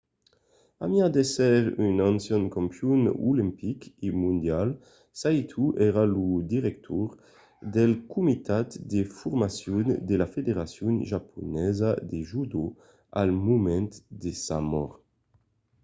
a mai d'èsser un ancian campion olimpic e mondial saito èra lo director del comitat de formacion de la federacion japonesa de judo al moment de sa mòrt